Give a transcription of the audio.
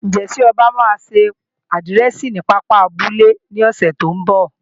Ǹjẹ́ Ọba máa ṣe àdírẹ̀sì ní pápá abúlé ní ọ̀sẹ̀ tí ń bọ̀?